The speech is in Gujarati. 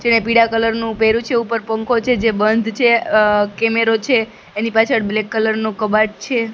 જેને પીડા કલર નુ પેહર્યુ છે ઉપર પંખો છે જે બંધ છે અ કેમેરો છે એની પાછળ બ્લેક કલર નુ કબાટ છે.